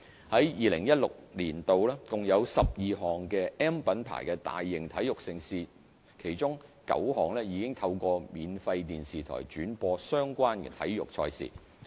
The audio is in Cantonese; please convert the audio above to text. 在2016年，共有12項 "M" 品牌的大型體育盛事，其中9項已透過免費電視台轉播相關體育賽事。